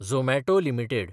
Zomato limited